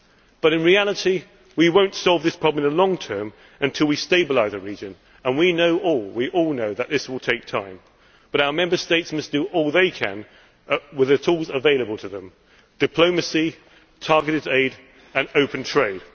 But in reality we will not solve this problem in the long term until we stabilise the region and we know, we all know, that this will take time, but our Member States must do all they can with the tools available to them diplomacy, targeted aid and open trade.